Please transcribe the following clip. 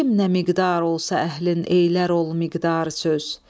Kim nə miqdar olsa əhlin eylər ol miqdar söz.